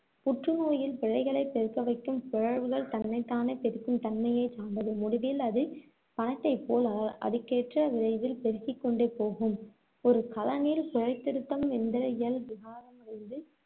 புற்றுநோயில் பிழைகளை பெருக்கவைக்கும் பிழற்வுகள் தன்னைத்தானே பெருக்கும் தன்மையை சார்ந்தது, முடிவில் அது பணத்தைப்போல் அ~ அதுக்கேற்ற விரைவில் பெருக்கிக்கொண்டே போகும். ஒரு கலனில் பிழை திருத்தம் எந்திர இயல் விகாரமடைந்து